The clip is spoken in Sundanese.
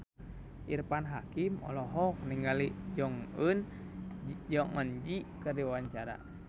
Irfan Hakim olohok ningali Jong Eun Ji keur diwawancara